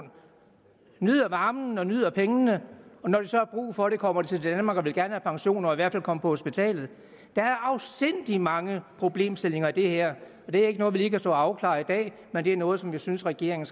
nyder varmen og nyder pengene når de så har brug for det kommer til danmark og gerne vil have pension og i hvert kunne komme på hospitalet der er afsindig mange problemstillinger i det her og det er ikke noget vi lige kan stå og afklare i dag men det er noget som vi synes regeringen